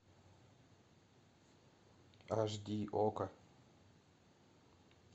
аш ди окко